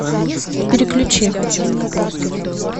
переключи